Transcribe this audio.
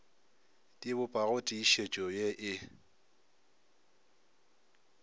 di bopago tiišetšo ye e